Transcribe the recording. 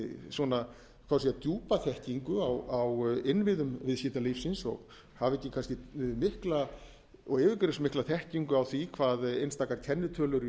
svona djúpa þekkingu á innviðum viðskiptalífsins og hafi ekki kannski mikla og yfirgripsmikla þekkingu á því hvað einstakar kennitölur í